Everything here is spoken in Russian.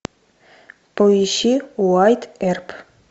поищи уайатт эрп